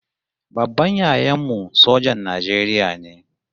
Babban yayan mu sojan Najeriya ne